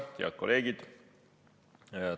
Head kolleegid!